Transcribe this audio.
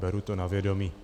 Beru to na vědomí.